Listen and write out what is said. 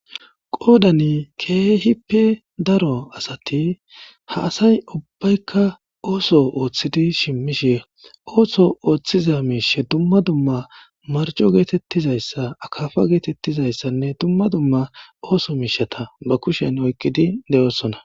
Qoodani keehippe daro asati ha asay ubbaykka ooso ooththidi shimmishe ooso ooththiza miishe dumma dumma marco geetettizayssa akafa geetettizayssanne dumma dumma ooso miishata ba kushen oykqidi de'oossona.